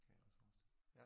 Kan jeg også forestille mig